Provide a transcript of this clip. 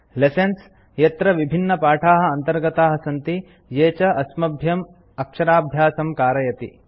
lessons - यत्र विभिन्नपाठाः अन्तर्गताः सन्ति ये च अस्मभ्यं अक्षराभ्यासं कारयति